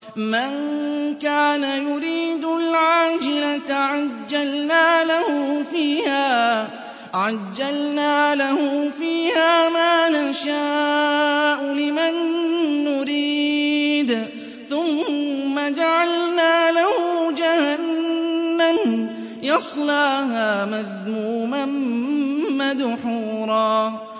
مَّن كَانَ يُرِيدُ الْعَاجِلَةَ عَجَّلْنَا لَهُ فِيهَا مَا نَشَاءُ لِمَن نُّرِيدُ ثُمَّ جَعَلْنَا لَهُ جَهَنَّمَ يَصْلَاهَا مَذْمُومًا مَّدْحُورًا